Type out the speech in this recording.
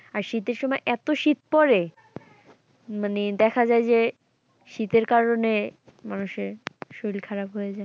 আর শীতের সময় এত শীত পড়ে মানে দেখা যায় যে শীতের কারণে মানুষের শরীল খারাপ হয়ে যায়।